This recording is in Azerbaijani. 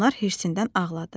Gülnar hirsindən ağladı.